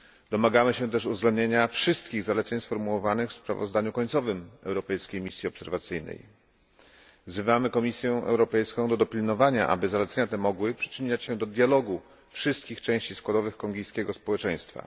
Domagamy się też uwzględnienia wszystkich zaleceń sformułowanych w sprawozdaniu końcowym europejskiej misji obserwacyjnej. Wzywamy Komisję Europejską do dopilnowania, aby zalecenia te mogły przyczyniać się do dialogu wszystkich części składowych kongijskiego społeczeństwa.